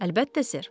Əlbəttə sir.